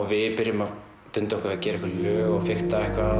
við byrjum að dunda okkur við að gera einhver lög og fikta